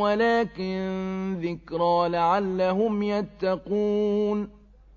وَلَٰكِن ذِكْرَىٰ لَعَلَّهُمْ يَتَّقُونَ